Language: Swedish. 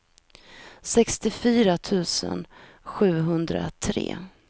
sextiofyra tusen sjuhundratre